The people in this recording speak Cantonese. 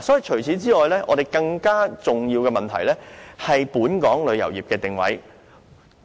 此外，更重要的問題是本港旅遊業的定位。